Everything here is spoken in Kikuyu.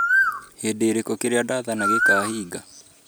hĩndĩ ĩrĩkũ kĩrĩa ndathana gĩkaahingika.